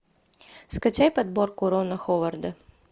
скачай подборку рона ховарда